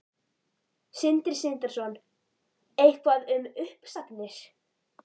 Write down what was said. Sindri Sindrason: Eitthvað um uppsagnir?